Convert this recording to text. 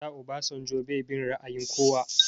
A da Obasanjo bai bin ra'ayin kowa